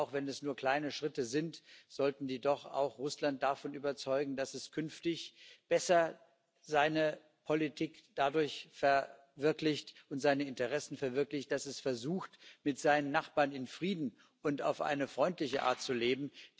Auch wenn es nur kleine Schritte sind, sollten die doch Russland davon überzeugen, dass es künftig seine Politik und seine Interessen besser dadurch verwirklicht, dass es versucht, mit seinen Nachbarn in Frieden und auf eine freundliche Art zu leben.